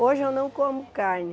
Hoje eu não como carne.